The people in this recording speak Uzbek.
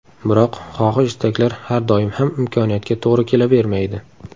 Biroq, xohish-istaklar har doim ham imkoniyatga to‘g‘ri kelavermaydi.